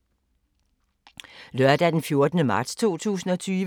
Lørdag d. 14. marts 2020